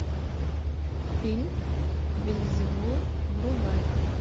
фильм вельзевул врубай